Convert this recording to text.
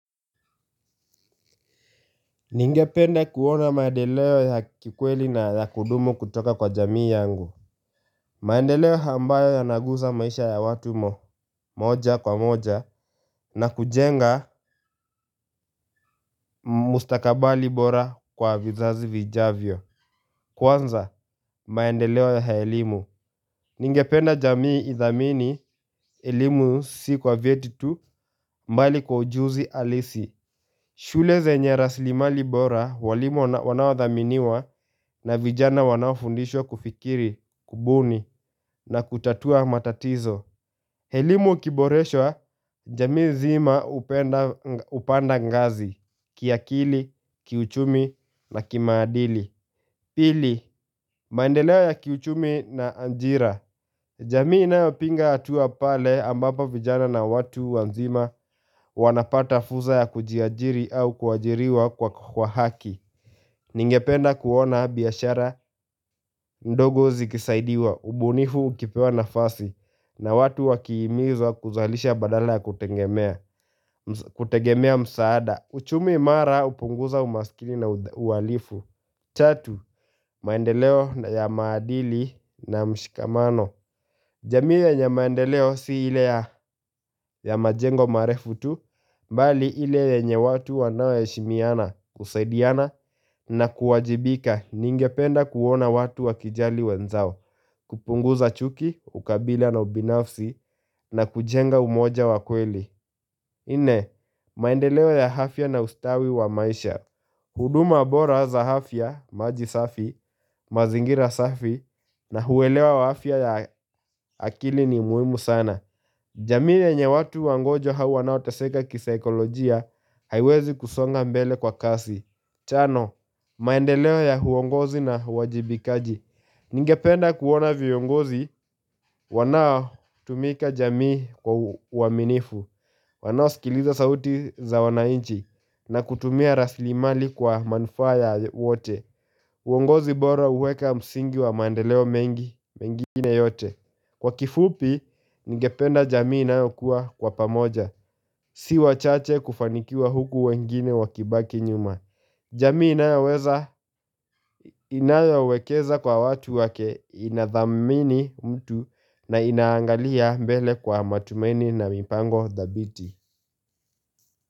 Ningependa kuona maendeleo ya kikweli na ya kudumu kutoka kwa jamii yangu maendeleo ambayo yanaguza maisha ya watu moja kwa moja na kujenga mustakabali bora kwa vizazi vijavyo Kwanza, maendeleo ya elimu, ningependa jamii idhamini elimu si kwa vyeti tu bali kwa ujuzi halisi shule zenye rasilimali bora walimu wanaodhaminiwa na vijana wanaofundishwa kufikiri, kubuni na kutatua matatizo. Elimu ikiboreshwa, jamii nzima hupanda ngazi, kiakili, kiuchumi na kimaadili. Pili, maendeleo ya kiuchumi na ajira. Jamii inayopinga hatua pale ambapo vijana na watu wazima wanapata fursa ya kujiajiri au kuajiriwa kwa haki Ningependa kuona biashara ndogo zikisaidiwa, ubunifu ukipewa nafasi na watu wakihimizwa kuzalisha badala ya kutegemea msaada uchumi imara hupunguza umaskini na uhalifu Tatu, maendeleo ya maadili na mshikamano jamii yenye maendeleo si ile ya ya majengo marefu tu, bali ile yenye watu wanaoheshimiana kusaidiana na kuwajibika ningependa kuona watu wakijali wenzao, kupunguza chuki, ukabila na ubinafsi na kujenga umoja wa kweli. Nne, maendeleo ya afya na ustawi wa maisha huduma bora za afya, maji safi, mazingira safi na huelewa afya ya akili ni muhimu sana jamii yenye watu wagonjwa au wanaoteseka kisaikolojia haiwezi kusonga mbele kwa kasi Tano, maendeleo ya uongozi na uwajibikaji Ningependa kuona viongozi, wanaotumikia jamii kwa uaminifu Wanaosikiliza sauti za wananchi na kutumia rasilimali kwa manufaa ya wote uongozi bora huweka msingi wa maendeleo mengi mengine yote Kwa kifupi, ningependa jamii inayokuwa kwa pamoja Si wachache kufanikiwa huku wengine wakibaki nyuma jamii inayoweza inayowekeza kwa watu wake inathamini mtu na inaangalia mbele kwa matumaini na mipango dhabiti.